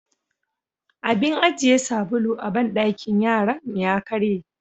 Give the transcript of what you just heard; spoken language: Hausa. Abin ajiye sabulu a banɗakin yaran ya karye.